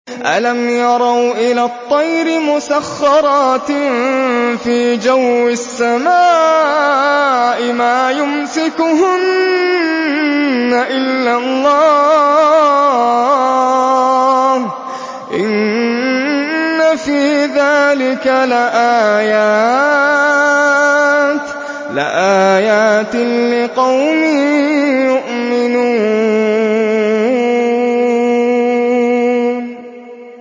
أَلَمْ يَرَوْا إِلَى الطَّيْرِ مُسَخَّرَاتٍ فِي جَوِّ السَّمَاءِ مَا يُمْسِكُهُنَّ إِلَّا اللَّهُ ۗ إِنَّ فِي ذَٰلِكَ لَآيَاتٍ لِّقَوْمٍ يُؤْمِنُونَ